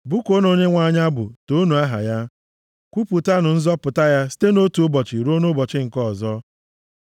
Bụkuonụ Onyenwe anyị abụ, toonu aha ya; kwupụtanụ nzọpụta ya site nʼotu ụbọchị ruo nʼụbọchị nke ọzọ.